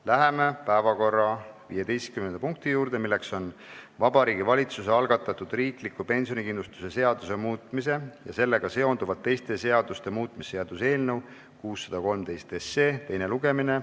Läheme päevakorra 15. punkti juurde, milleks on Vabariigi Valitsuse algatatud riikliku pensionikindlustuse seaduse muutmise ja sellega seonduvalt teiste seaduste muutmise seaduse eelnõu teine lugemine.